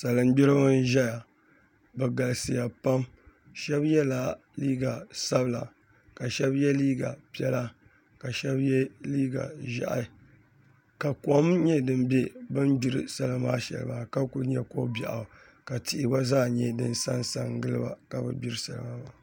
Salin gbiribi n ʒɛya bi galisiya pam shab yɛla liiga sabila ka shab yɛ liiga piɛla ka shab yɛ liiga ʒiɛhi ka kom nyɛ din bɛ bin gbiri salima maa shɛli maa ka kuli nyɛ ko biɛɣu ka tihi gba zaa nyɛ din sansa giliba ka bi gbiri salima maa